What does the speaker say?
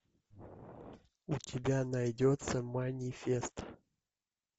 у тебя найдется манифест